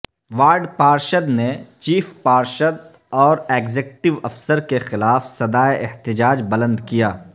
ward پارشد نے chief پارشد اور ایگزکٹیو افسر کے خلاف صدائے احتجاج بلند کیا